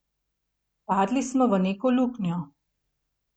Padli smo v neko luknjo.